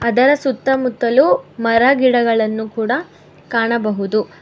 ಅದರ ಸುತ್ತಮುತ್ತಲು ಮರ ಗಿಡಗಳನ್ನು ಕೂಡ ಕಾಣಬಹುದು.